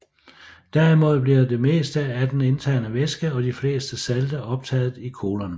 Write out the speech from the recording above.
Derimod bliver det meste af den indtagede væske og de fleste salte optaget i colon